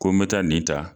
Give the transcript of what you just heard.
Ko n bɛ taa nin ta